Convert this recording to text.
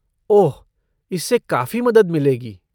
ओह, इससे काफ़ी मदद मिलेगी।